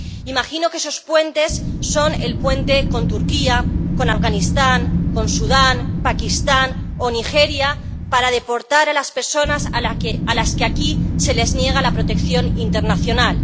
Imagino que esos puentes son el puente con Turquía, con Afganistán, con Sudán, Pakistán o Nigeria para deportar a las personas a las que aquí se les niega la protección internacional.